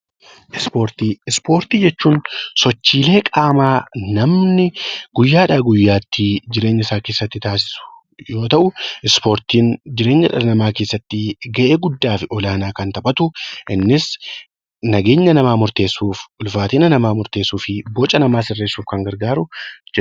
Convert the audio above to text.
Ispoortii Ispoortii jechuun sochiilee qaamaa namni guyyaadhaa guyyaatti kan taasisu yoo ta'u, ispoortiin jireenya dhala namaa keessatti gahee guddaa fi olaanaa kan taphatu innis nageenya namaa murteessuuf, ulfaatina namaa murteessuuf, boca namaa sirreessuuf kan gargaaru.